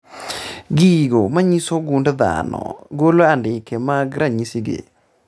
Gigo manyiso gund dhano golo andike mag ranyisi gi